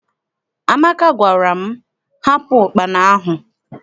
Amaka gwara m, hapụ ụkpana ahụ!